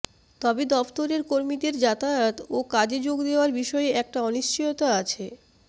তবে দফতরের কর্মীদের যাতায়াত ও কাজে যোগ দেওয়ার বিষয়ে একটা অনিশ্চয়তা আছে